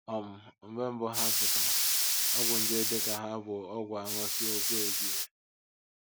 um Mgbe mbụ ha pụtara, ọgwụ nje dị ka hà bụ ọgwụ a ṅụsịa okwu ebie.